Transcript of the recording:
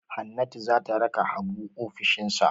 Hannatu za ta raka Habu ofishinsa.